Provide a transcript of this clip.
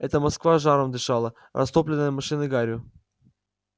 это москва жаром дышала растопленная машинной гарью